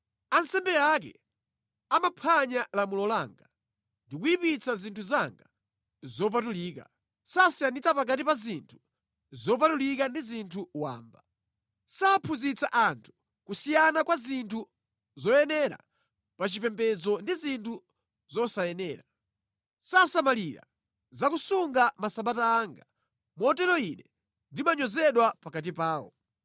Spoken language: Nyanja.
Ansembe ake amaphwanya lamulo langa ndi kuyipitsa zinthu zanga zopatulika. Sasiyanitsa pakati pa zinthu zopatulika ndi zinthu wamba. Saphunzitsa anthu kusiyana kwa zinthu zoyenera pa chipembedzo ndi zinthu zosayenera. Sasamalira za kusunga masabata anga. Motero Ine ndimanyozedwa pakati pawo.